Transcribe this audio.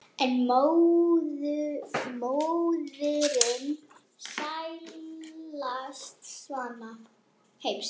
en móðirin sælasti svanni heims